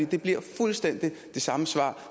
det bliver fuldstændig det samme svar